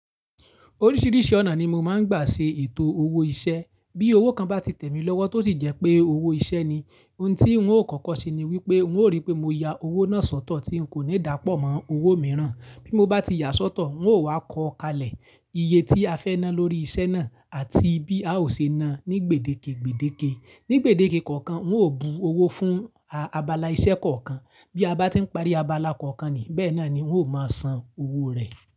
Oríṣiríṣi ọ̀nà ni mo máa ń gbà ṣe ètò owó iṣẹ́. Bí owó kan bá ti tẹ̀ mí lọ́wọ́ tó sì jẹ́ pé owó iṣẹ́ ni, ohun tí ń ó kọ́kọ́ ṣe ni wípé ń ó rí pé mo ya owó náà sọ́tọ̀ tí ń kò ní dà pọ̀ mọ́ owó mìíràn. Bí mo bá ti yà sọ́tọ̀ ń ó wá kọ kalẹ̀ iye tí a fẹ́ ná lórí iṣẹ́ náà àti bí a ó ṣe ná ní gbèdéke gbèdéke. Ní gbèdéke kọ̀ọ̀kan ń ó bu owó fún abala iṣẹ́ kọ̀ọ̀kan. Bí a bá ti ń parí abala kọ̀ọ̀kan ni bẹ́ẹ̀ náà ni ń ó máa san owó rẹ̀.